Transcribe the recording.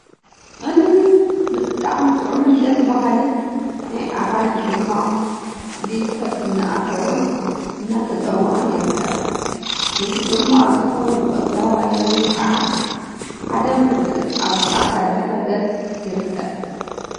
እልል.. ብጣዕሚ ጥዑምን ደስ በሃሊን ናይ አራንሺ ፅሟቅ ብኢድ ሰብ እናአተወን እናተፀሞቀን ይርከብ፡፡ ነቲ ፅሟቅ ዝኸውን ቆፅለዋይ ሎሚን ከዓ ሓደን ፍርቂን አብ ፃዕዳ ድሕረ ገፅ ይርከብ፡፡